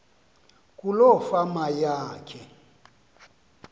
kuloo fama yakhe